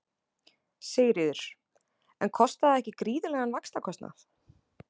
Sigríður: En kostar það ekki gríðarlegan vaxtakostnað?